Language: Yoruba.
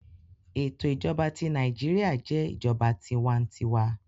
Eto ijọba ti Naijiria jẹ ijọba tiwantiwa